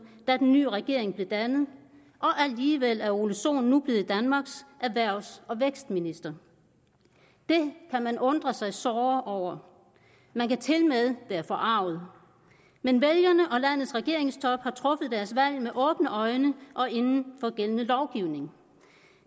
da den nye regering blev dannet og alligevel er herre ole sohn nu blevet danmarks erhvervs og vækstminister det kan man undre sig såre over og man kan tilmed være forarget men vælgerne og landets regeringstop har truffet deres valg med åbne øjne og inden for gældende lovgivning